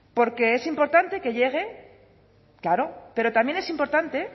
porque es importante que llegue claro pero también es importante